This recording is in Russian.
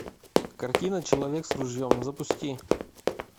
картина человек с ружьем запусти